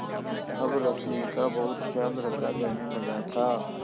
अब रश्मि का बहुत ख्याल रखा जाने लगा था